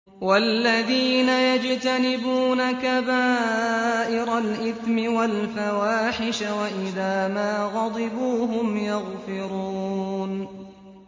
وَالَّذِينَ يَجْتَنِبُونَ كَبَائِرَ الْإِثْمِ وَالْفَوَاحِشَ وَإِذَا مَا غَضِبُوا هُمْ يَغْفِرُونَ